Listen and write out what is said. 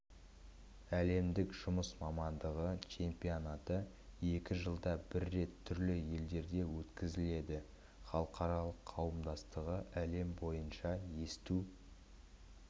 әлемдік жұмыс мамандығы чемпионаты екі жылда бір рет түрлі елдерде өткізіледі халықаралық қауымдастығы әлем бойынша есту